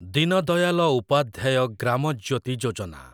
Deen Dayal Upadhyaya Gram Jyoti Yojana